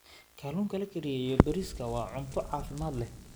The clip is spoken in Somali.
Kalluunka la kariyey iyo bariiska waa cunto caafimaad leh.